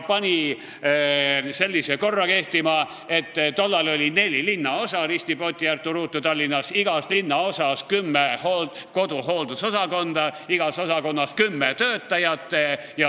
Tollal oli Tallinnas neli linnaosa – risti, poti, ärtu, ruutu – ja ta pani sellise süsteemi kehtima, et igas linnaosas oli kümme koduhooldusosakonda, igas osakonnas kümme töötajat.